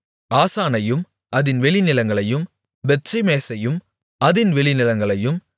ஆசானையும் அதின் வெளிநிலங்களையும் பெத்ஷிமேசையும் அதின் வெளிநிலங்களையும்